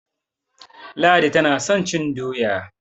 Ladi tana son cin doya.